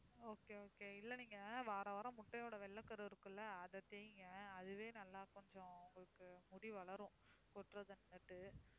okay okay இல்ல நீங்க வாரவாரம் முட்டையோட வெள்ளைக்கரு இருக்குல்ல அதை தேய்ங்க அதுவே நல்லா கொஞ்சம் உங்களுக்கு முடி வளரும் கொட்றது நின்னுட்டு